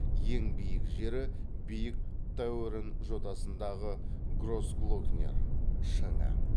ең биік жері биік тауэрн жотасындағы гросглокнер шыңы